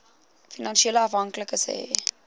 finansiële afhanklikes hê